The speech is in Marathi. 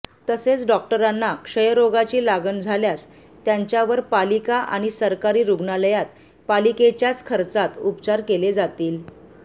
तसेच डॉक्टरांना क्षयरोगाची लागण झाल्यास त्यांच्यावर पालिका आणि सरकारी रुग्णालयांत पालिकेच्याच खर्चात उपचार केले जातील